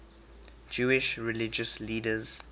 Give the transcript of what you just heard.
jewish religious leaders